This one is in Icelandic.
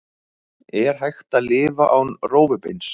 Er hægt að lifa án rófubeins?